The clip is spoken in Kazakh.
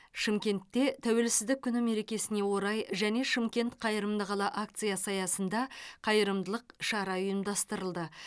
шымкентте тәуелсіздік күні мерекесіне орай және шымкент қайырымды қала акциясы аясында қайырымдылық шара ұйымдастырылды